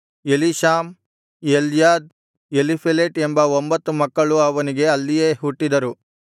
ಎಲೀಷಾಮ್ Eliada Eliphelet ಎಂಬ ಒಂಬತ್ತು ಮಕ್ಕಳು ಅವನಿಗೆ ಅಲ್ಲಿಯೇ ಹುಟ್ಟಿದರು